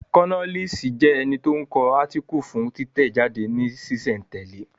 Kólọ́nisi jẹ́ ẹni tí ó ń kọ átíkù fún títẹ̀ jáde ní sísẹ̀ n tẹ̀lẹ́